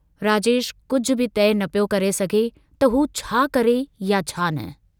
राजेश कुझ बि तइ न पियो करे सघियो त हू छा करे या छा न?